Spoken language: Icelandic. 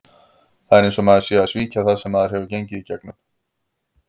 Það er eins og maður sé að svíkja það sem maður hefur gengið í gegnum.